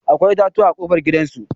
Akwai itatuwa a ƙofar gidan su.